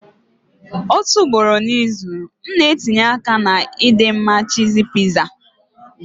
Otu ugboro n'izu, m na-etinye aka na ịdị mma cheesy pizza.